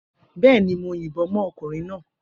Bẹẹni, mo yìnbọn mọ́ ọkùnrin náà